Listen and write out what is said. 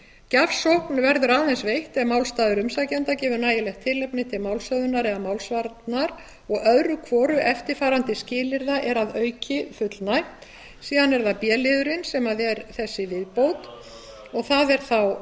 gjafsókn verður aðeins veitt ef málstaður umsækjanda gefur nægilegt tilefni til málshöfðunar eða málsvarnar og öðru hvoru eftirfarandi skilyrða er að auki fullnægt síðan er það b liðurinn sem er þessi viðbót og það er